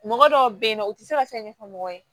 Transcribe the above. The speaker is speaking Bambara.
Mɔgɔ dɔw bɛ yen nɔ u tɛ se ka fɛn ɲɛfɔ mɔgɔ ye